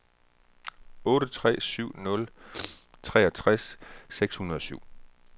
otte tre syv nul treogtres seks hundrede og syv